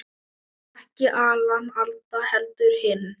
Ekki Alan Alda, heldur hinn